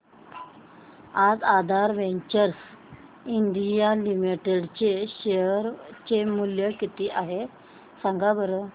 आज Aadhaar ventures India limited चे share चे मूल्य किती आहे सांगा बरं